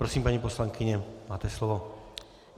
Prosím, paní poslankyně, máte slovo.